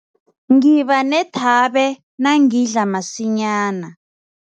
Ngiba nethabe nangidla masinyana.